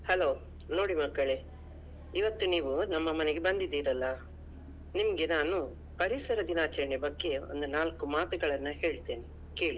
Hello ನೋಡಿ ಮಕ್ಕಳೇ ಇವತ್ತು ನೀವು ನಮ್ಮ ಮನೆಗೆ ಬಂದಿದೀರಲ್ಲಾ ನಿಮ್ಗೆ ನಾನು ಪರಿಸರ ದಿನಾಚರಣೆಯ ಬಗ್ಗೆ ಒಂದು ನಾಲ್ಕು ಮಾತುಗಳನ್ನು ಹೇಳ್ತೇನೆ ಕೇಳಿ.